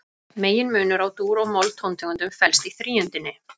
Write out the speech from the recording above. Meginmunur á dúr- og moll-tóntegundum felst í þríundinni.